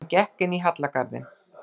Hann gekk inn í hallargarðinn.